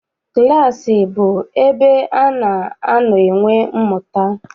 Klaasị bụ ebe ana anọ enwe mmụta.